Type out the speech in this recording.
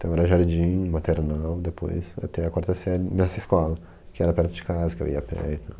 Então era jardim, maternal, depois até a quarta série nessa escola, que era perto de casa, que eu ia a pé e tal.